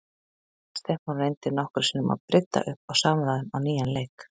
Stefán reyndi nokkrum sinnum að brydda upp á samræðum á nýjan leik.